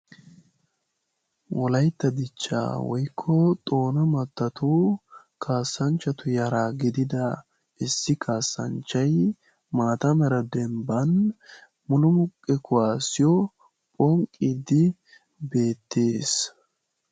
Wolaytta dichchaa woykko Xoona mattatu kasanchchatu Yara gidida issi kasanchchay maata mala dembban mulummuqqe kuwaassiyo ponqqiidi beettees.